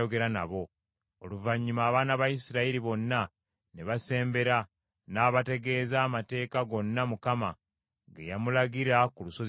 Oluvannyuma abaana ba Isirayiri bonna ne basembera, n’abategeeza amateeka gonna Mukama ge yamulagira ku lusozi Sinaayi.